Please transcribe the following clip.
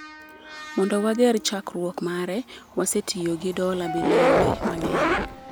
Mondo wager chakruok mare, wasetiyo gi dola bilionde mang’eny.